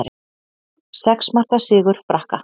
Sex marka sigur Frakka